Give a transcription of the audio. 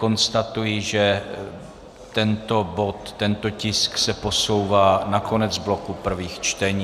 Konstatuji, že tento bod, tento tisk se posouvá na konec bloku prvých čtení.